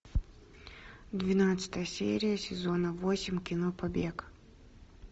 двенадцатая серия сезона восемь кино побег